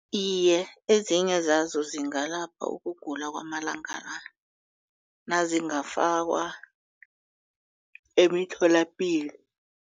Iye, ezinye zazo zingalapha ukugula kwamalanga la nazingafakwa emitholapilo.